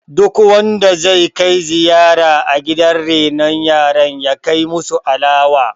duk wanda zai Kai ziyara gidan renon yara ya kai musu alawa!